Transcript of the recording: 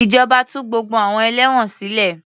Ìjọba tú gbogbo àwọn ẹlẹ́wọ̀n sile